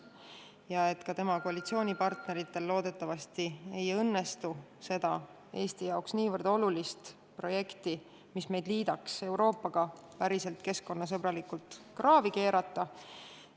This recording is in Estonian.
Loodetavasti tema koalitsioonipartneritel ei õnnestu seda Eesti jaoks nii olulist projekti, mis liidaks meid muu Euroopaga päriselt keskkonnasõbralikult, kraavi keerata.